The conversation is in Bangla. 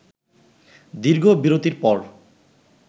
দীর্ঘ বিরতির পর